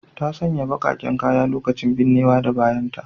Ta sanya bakaken kaya a lokacin binnewa da bayanta.